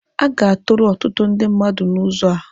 A ga-atụrụ ọtụtụ ndị mmadụ n'ụzọ a.